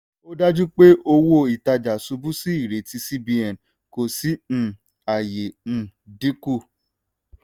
ó dájú pé owó-ìtajà ṣubú sí ìrètí cbn kò sí um àyè um dínkù.